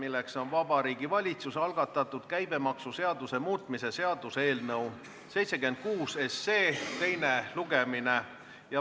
Algab Vabariigi Valitsuse algatatud käibemaksuseaduse muutmise seaduse eelnõu 76 teine lugemine.